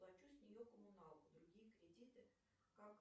плачу с нее коммуналку другие кредиты как